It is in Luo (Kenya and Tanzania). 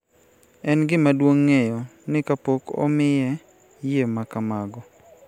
En gima duong� ng�eyo ni kapok omiye yie ma kamago,